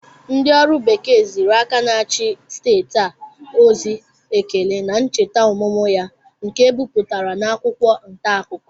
Ndị ọrụ bekee ziri aka na-achị steeti a ozi ekele na ncheta ọmụmụ ya nke e bipụtara n'akwụkwọ ntaakụkọ